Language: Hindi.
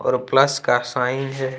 और प्लस का साइन है।